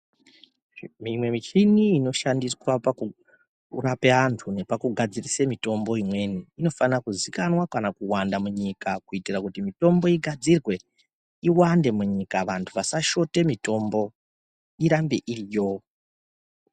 Mimwe michini inoshandiswe pakurape vantu nepakugadzirise mitombo imweni inofanira kuzikanwa kana kuwanda munyika kuitire kuti mitombo igadzirwe iwande munyika vantu vasashote mitombo irambe iriyo.